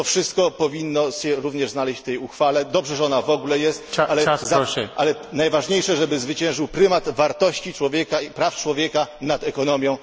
To wszystko powinno się również znaleźć w tej uchwale. Dobrze, że ona w ogóle jest, ale najważniejsze, żeby zwyciężył prymat wartości praw człowieka nad ekonomią.